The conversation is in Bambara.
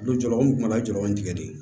Don jɔlaw n kun mana jɔ an tigɛ de